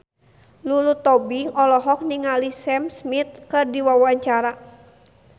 Lulu Tobing olohok ningali Sam Smith keur diwawancara